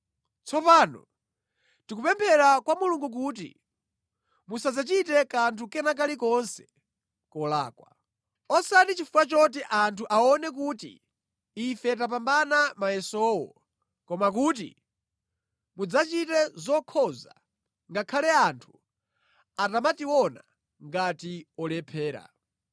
Tsopano tikupemphera kwa Mulungu kuti musadzachite kanthu kena kalikonse kolakwa. Osati chifukwa choti anthu aone kuti ife tapambana mayesowo koma kuti mudzachite zokhoza ngakhale anthu atamationa ngati olephera.